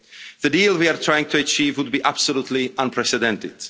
The deal we are trying to achieve would be absolutely unprecedented.